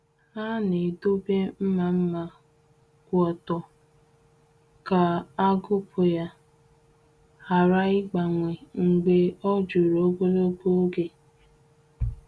Ha na-edobe mma mma kwụ ọtọ ka agụkpụ ya ghara ịgbanwe mgbe o juru ogologo oge.